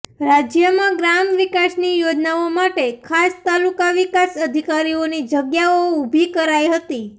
રાજ્યમાં ગ્રામ વિકાસની યોજનાઓ માટે ખાસ તાલુકા વિકાસ અધિકારીઓની જગ્યાઓ ઊભી કરાઈ હતી